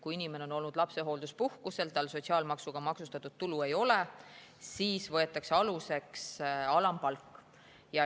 Kui inimene on olnud lapsehoolduspuhkusel ja tal sotsiaalmaksuga maksustatud tulu ei ole, siis võetakse aluseks alampalk.